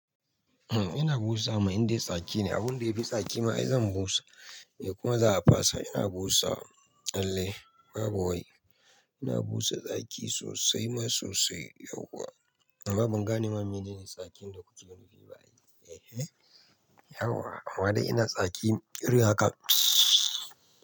Eh ina busa ma in dai tsaki ne, abun da yafi tsaki ma ai zan busa kuma za a fasa. Ina busa, lalle babu wai. Ina busa tsaki sosai ma sosai yauwa. Amma ban gane ma menene tsakin da kuke nufi ba ai. Ehe yau wa? Amma dai ina tsaki irin haka? Mtsewww.